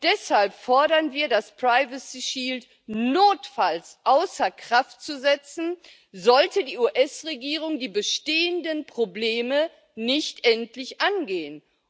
Deshalb fordern wir, das Privacy Shield notfalls außer Kraft zu setzen, sollte die US Regierung die bestehenden Probleme nicht endlich angehen.